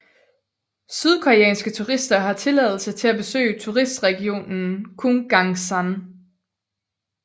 Sydkoreanske turister har tilladelse til at besøge turistregionen Kumgangsan